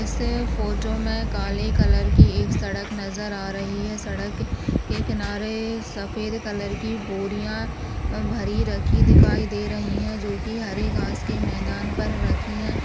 Photo में काले colour की एक सड़क नज़र आ रही है सड़क के किनारे सफ़ेद कलर की बोरिया भरी रखी दिखाई दे रही है जो की हरे घास के मैदान पर रखी है।